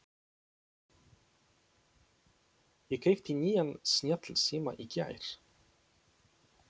Ég keypti nýjan snjallsíma í gær.